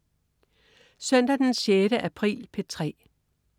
Søndag den 6. april - P3: